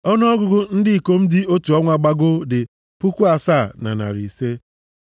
Ọnụọgụgụ ndị ikom dị otu ọnwa gbagoo dị puku asaa na narị ise (7,500).